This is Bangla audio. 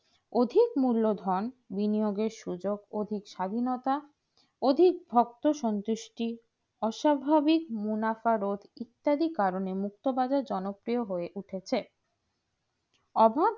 অধিক মূলধন বিনিয়গে সুযোগ অধিক স্বাধীনতা অধিক ভক্ত সংশ্লিষ্টি অস্বাভিক মুনাফিরোদ ইত্যাদি কারণে মুক্তবাজার জনপ্রিয় হয়ে উঠেছে অভাগ